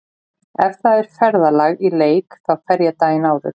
Ef það er ferðalag í leik þá fer ég daginn áður.